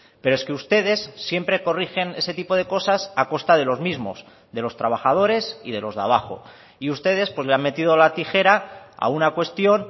pero es que ustedes siempre corrigen ese tipo de cosas a costa de los mismos de los trabajadores y de los de abajo y ustedes pues le han metido la tijera a una cuestión